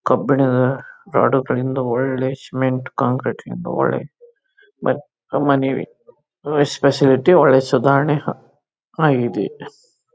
ಕಬ್ಬಿಣದ ರಾಡ್ ಕಡಮಿದಾಗ ಒಳ್ಳೆ ಸಿಮೆಂಟ್ ಕಾಂಕ್ರೀಟ್ ಒಳ್ಳೆ ಮನೆ ಸ್ಪೆಷಲ್ ಅಯ್ತೆ ಒಳ್ಳೆ ಸುಧಾರನೆ ಆಗಿದೆ.